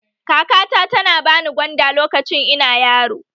Kakata tana ba ni gwanda lokacin ina yaro